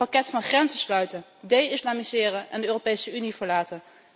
Een pakket van grenzen sluiten, de islamiseren en de Europese Unie verlaten.